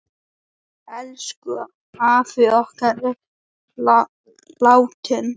Elsku afi okkar er látinn.